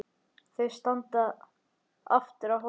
Þau standa aftur á hólnum.